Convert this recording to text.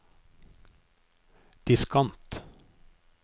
diskant